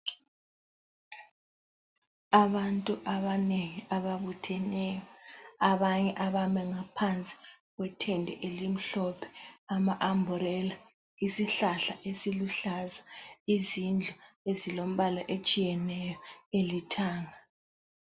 Abantu abanengi ababutheneyo abanye abame ngaphansi kwetende elimhlophe ,ama umbrella, isihlahla esiluhlaza , izindlu ezilembala etshiyeneyo elithanga